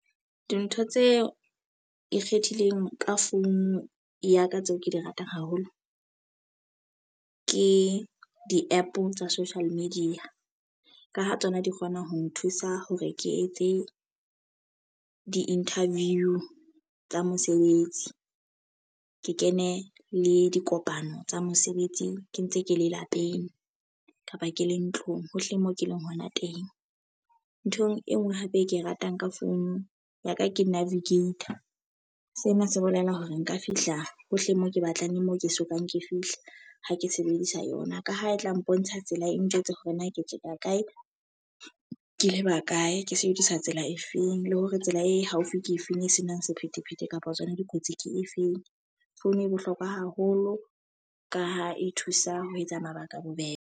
Dintho tseo ikgethileng ka phone ya ka tseo ke di ratang haholo. Ke di-app tsa social media. Ka ho tsona di kgona ho nthusa hore ke etse di-interview tsa mosebetsi, ke kene le dikopano tsa mosebetsi ke ntse ke le lapeng kapa ke le ntlong hohle mo ke leng hona teng. Nthong e nngwe hape e ke e ratang ka phone ya ka ke navigator. Sena se bolela hore nka fihla hohle mo ke batlang le mo ke sokang ke fihla ha ke sebedisa yona. Ka ha e tla mpontsha tsela e njwetse hore na ke tjeka kae, ke leba kae, ke sebedisa tsela e feng le hore tsela e haufi ke efeng, e senang sephethephethe kapa tsona dikotsi ke efeng. Phone e bohlokwa haholo ka ha e thusa ho etsa mabaka a bobebe.